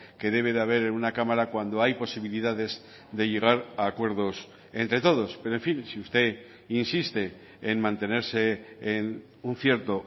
que debe de haber en una cámara cuando hay posibilidades de llegar a acuerdos entre todos pero en fin si usted insiste en mantenerse en un cierto